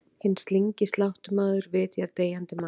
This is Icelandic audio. Hinn slyngi sláttumaður vitjar deyjandi manns.